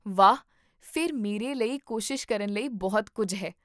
ਵਾਹ, ਫਿਰ ਮੇਰੇ ਲਈ ਕੋਸ਼ਿਸ਼ ਕਰਨ ਲਈ ਬਹੁਤ ਕੁੱਝ ਹੈ